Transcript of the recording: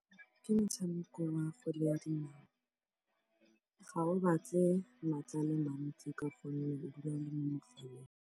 ke motshameko wa kgwele ya dinao. Ga o batle maatla a le mantsi ka gonne o dula o le mo mogaleng.